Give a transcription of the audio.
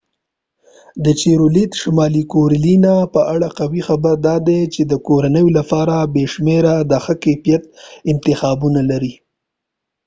د چیرولیت شمالي کارولینا په اړه قوي خبره داده چې د کورنیو لپاره بې شمیره د ښه کیفیت انتخابونه لري